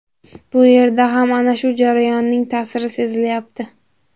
Bu yerda ham ana shu jarayonning ta’siri sezilyapti.